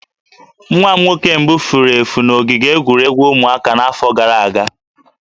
Nwa m nwoke mbụ furu efu na ogige egwuregwu ụmụaka n'afọ gara aga